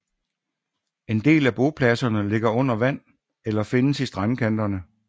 En del af bopladserne ligger under vand eller findes i strandkanterne